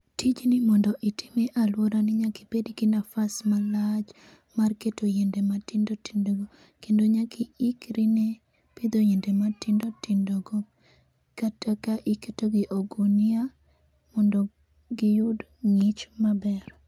Tij ni mondo itime e aluora ni nyaka ibed gi nafas malach mar keto yiende matindo tindo kendo nyaka iikri ne pidho yiende matindo tindo go kata ka iketogi e ogunia mondo giyud ng'ich maber.